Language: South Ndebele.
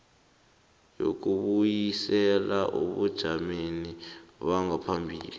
yokubuyisela ebujameni bangaphambilini